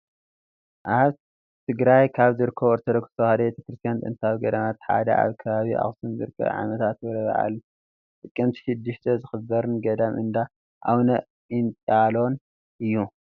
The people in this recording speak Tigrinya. ኣብ ትግራይ ካብ ዝርከቡ ኦርቶዶክ ተዋህዶ ቤተ ክርስትያን ጥንታዊ ገዳማት ሓደ ኣብ ከባቢ ኣክሱም ዝርከብን ዓመታ ክብረ በዓሉ ጥቅምቲ 6 ዝኽበርን ገዳም እንዳ ኣውነ ጴንጥየሎን እዩ፡፡